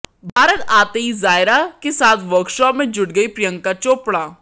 भारत आते ही ज़ायरा के साथ वर्कशॉप में जुट गईं प्रियंका चोपड़ा